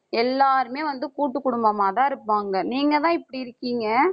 எல்லாருமே வந்து கூட்டுக்குடும்பமாதான் இருப்பாங்க. நீங்கதான் இப்படி இருக்கீங்க